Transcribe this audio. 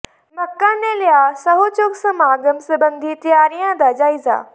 ਮੱਕੜ ਨੇ ਲਿਆ ਸਹੰੁ ਚੁੱਕ ਸਮਾਗਮ ਸਬੰਧੀ ਤਿਆਰੀਆਂ ਦਾ ਜਾਇਜ਼ਾ